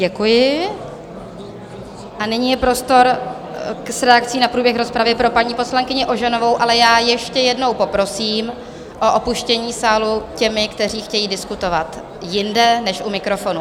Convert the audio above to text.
Děkuji a nyní je prostor k reakci na průběh rozpravy pro paní poslankyni Ožanovou, ale já ještě jednou poprosím o opuštění sálu těmi, kteří chtějí diskutovat jinde než u mikrofonu.